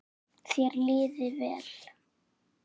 Þér liði vel.